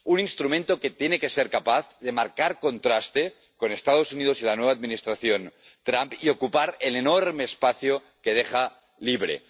un instrumento que tiene que ser capaz de marcar contraste con los Estados Unidos y la nueva Administración Trump y ocupar el enorme espacio que deja libre